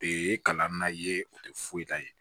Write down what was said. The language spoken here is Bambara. Ee kalan na ye o tɛ foyi ta ye